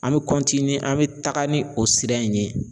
An mɛ an mɛ taga ni o sira in ye.